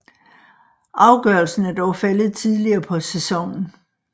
Afgørelsen er dog faldet tidligere på sæsonen